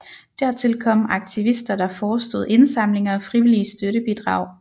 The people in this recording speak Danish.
Dertil kom aktivister der forestod indsamlinger af frivillige støttebidrag